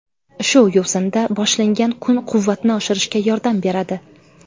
Shu yo‘sinda boshlangan kun quvvatni oshirishga yordam beradi.